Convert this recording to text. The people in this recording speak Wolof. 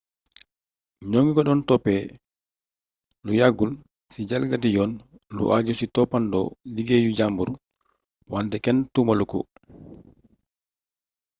ñoŋi ko doon toppë lu yàggul ci jalgati yoon lu ajju ci toppandoo liggéeyu jambur wante kenn tuumalu ko